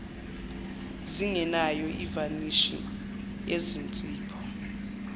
zingenayo ivanishi yezinzipho